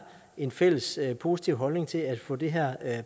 en fælles positiv holdning til at få det her